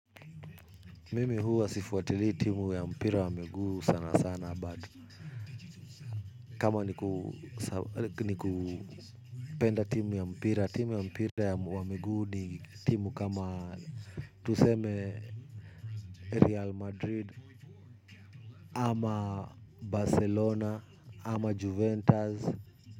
Mimi huwa sifuatilii timu ya mpira wa miguu sana sana 'but' kama ni kupenda timu ya mpira timu ya mpira wa miguu ni timu kama tuseme 'Real Madrid'. Ama Barcelona, ama Juventus.